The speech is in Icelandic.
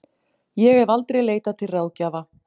Ég hef aldrei leitað til ráðgjafa.